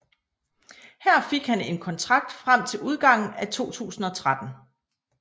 Her fik han en kontrakt frem til udgangen af 2013